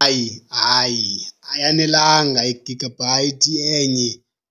Hayi, hayi, ayanelanga igagabhayithi enye